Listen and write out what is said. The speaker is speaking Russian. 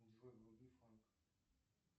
джой вруби фанк